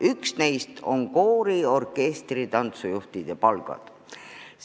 Üks teema on koori-, orkestri- ja tantsujuhtide palgad.